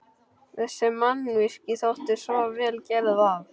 Þessi mannvirki þóttu svo vel gerð, að